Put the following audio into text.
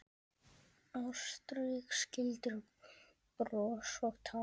Ástrík skildir bros og tár.